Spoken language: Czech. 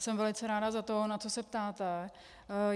Jsem velice ráda za to, na co se ptáte.